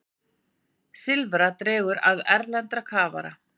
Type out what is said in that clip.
Silfra dregur að erlenda kafara